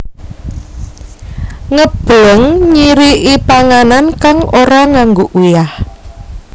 Ngebleng nyiriki panganan kang ora nganggo uyah